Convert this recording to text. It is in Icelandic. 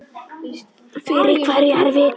Fyrir hverja er vikan?